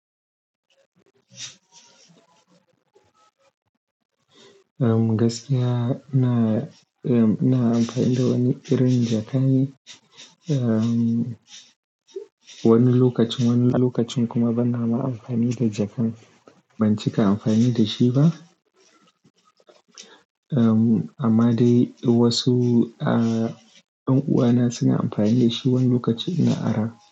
Um, gaskiya ina, um, ina amfani da wani irin jakan. Um, wani lokacin, wani lokacin kuma bana ma amfani da jakan. Ban cika amfani da shi ba. Um, amma dai wasu, ah, dan uwana suna amfani da shi wani lokaci ina ara.